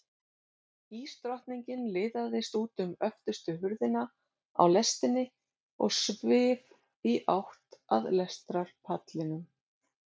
Ísdrottningin liðaðist út um öftustu hurðina á lestinni og svif í átt að lestarpallinum.